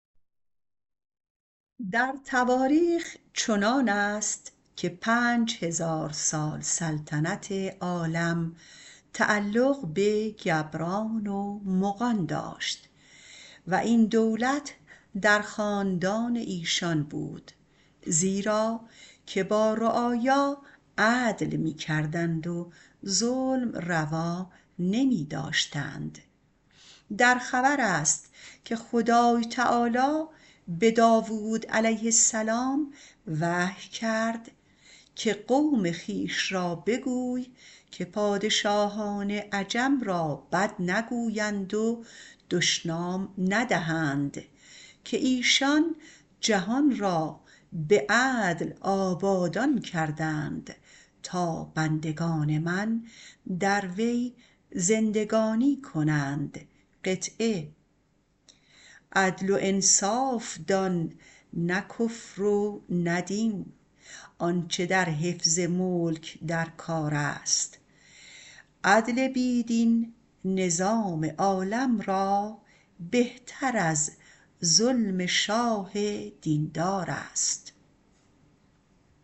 در تواریخ چنان است که پنج هزار سال سلطنت عالم تعلق به گبران و مغان داشت و این دولت در خاندان ایشان بود زیرا که با رعایا عدل می کردند و ظلم روا نمی داشتند در خبر است که خدای تعالی به داوود علیه السلام وحی کرد که قوم خویش را بگوی که پادشاهان عجم را بد نگویند و دشنام ندهند که ایشان جهان را به عدل آبادان کردند تا بندگان من در وی زندگانی کنند عدل و انصاف دان نه کفر و نه دین آنچه در حفظ ملک در کار است عدل بی دین نظام عالم را بهتر از ظلم شاه دیندار است